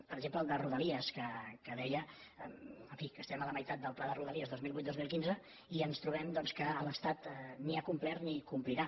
per exemple el de rodalies que deia en fi que estem a la meitat del pla de rodalies dos mil vuit dos mil quinze i ens trobem que l’estat ni ha complert ni complirà